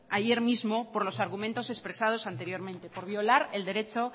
ayer mismo por los argumentos expresados anteriormente por violar el derecho